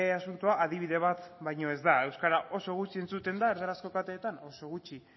asuntoa adibide bat baino ez da euskara oso gutxi entzuten da erdarazko kateetan oso gutxi